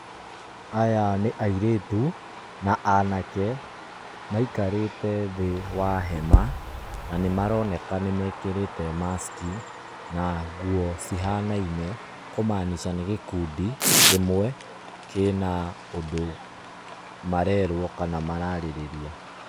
Aya nĩ airĩtu na anake maikarĩte thĩĩ wa hema na nĩ maroneka nĩ mekĩrĩte mask na nguo cihanaine kũmanica nĩ gĩkundi kĩmwe kĩna ũndũ marerwo kana mararĩrĩria.